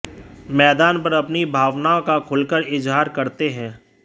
मैदान पर अपनी भावनाओं का खुलकर इजहार करते हैं